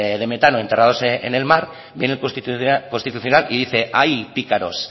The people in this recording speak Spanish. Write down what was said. de metano enterrados en el mar viene el constitucional y dice ay pícaros